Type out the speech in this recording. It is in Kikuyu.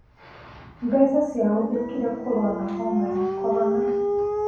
Mbeca ciahũthĩkire kũrũa na homa ya korona